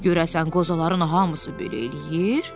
Görəsən qozaların hamısı belə eləyir?